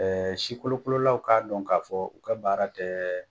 si kolokololaw k'a dɔn k'a fɔ u ka baara tɛ